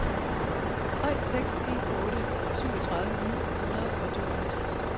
tre seks en otte syvogtredive ni hundrede og tooghalvtreds